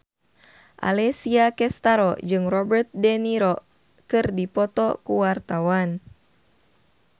Alessia Cestaro jeung Robert de Niro keur dipoto ku wartawan